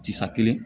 Tisa kelen